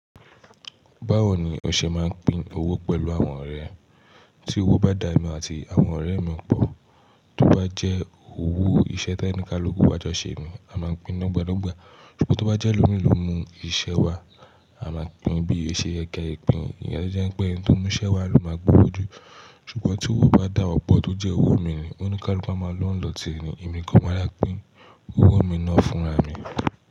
Báwo ni ọ̀ṣẹ̀ máa ń pín owó pẹ̀lú àwọn ọ̀rẹ́? Tí owó bá dà emí àti àwọn ọ̀rẹ́ mi pọ̀, tó bá jẹ́ owó iṣẹ́ tí ẹnìkan gbogbo wa jọ ṣe ni, a máa pín dogbadogba. Ṣùgbọ́n tó bá jẹ́ elómi ló mú iṣẹ́ wá, a máa pín bí o ṣe ye kẹ́ ẹ̀ pín. Ìyẹn jẹ́ pé ẹni tó mú iṣẹ́ wá ló máa gbowó jù. Ṣùgbọ́n tí owó bá dà wa pọ̀ tó jẹ́ owó mi ni, ó níikaluku a máa lọ́ ni lọ̀tí e ni, èmi ni kan máa dà pín owó mi náà fúnra mi.